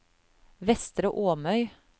Vestre Åmøy